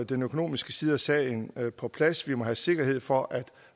den økonomiske side af sagen på plads vi må have sikkerhed for at